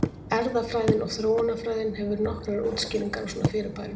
Erfðafræðin og þróunarfræðin hefur nokkrar útskýringar á svona fyrirbærum.